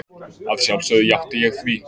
Að sjálfsögðu játti ég því.